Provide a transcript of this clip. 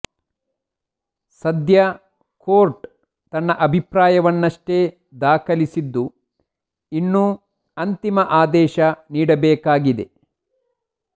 ಸದ್ಯ ಕೋರ್ಟ್ ತನ್ನ ಅಭಿಪ್ರಾಯವನ್ನಷ್ಟೇ ದಾಖಲಿಸಿದ್ದು ಇನ್ನೂ ಅಂತಿಮ ಆದೇಶ ನೀಡಬೇಕಾಗಿದೆ